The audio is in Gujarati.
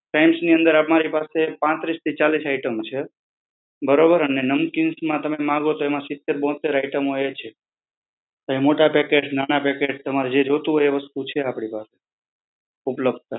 ફ્રાયમ્સની અંદર અમારા પાસે પાંત્રીસ થી ચાલીસ આઈટમોંછે. બરોબર? એન નમકીન્સ માં તમે માંગો તો એમાં સિત્તર બોહત્તર આઇટમ હોય છે. તો એ મોટા પેકેટ, નાના પેકેટ તમારે જો જોતું હોય આપડી પાસ ઉપલબ્ધ.